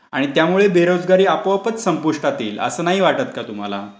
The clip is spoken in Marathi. आणि त्यामुळे बेरोजगारी आपोआपच संपुष्टात येईल, असे नाही वाटतं का तुम्हाला?